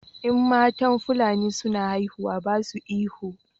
In matan fulani suna haihuwa ba su ihu